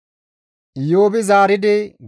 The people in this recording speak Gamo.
Iyoobi zaaridi,